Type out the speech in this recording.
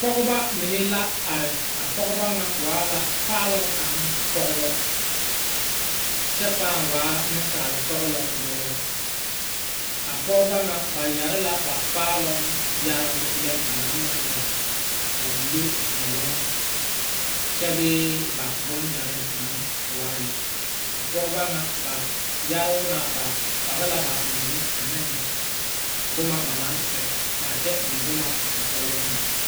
Pɔgɔbɔ mene la are. A pɔgɔbɔ na waa la paaluŋ kang pɔgɔbɔ kyɛ paaŋ waa nesal sɔglɔ buoro. A pɔgɔbɔ na ba yɛre la ba paaluŋ yɛrebu lɛ ba na maŋ yɛre a wulo viɛluŋ. Kyɛ bee ba boŋ yɛre na waa la. A pɔgɔbɔ na ba yɛroo na ba pɔge la ba mene ane boma ba na sɛ kyɛ eŋ boma ba kɔkɔrɛ meŋ.